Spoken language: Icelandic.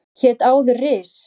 Hét áður Ris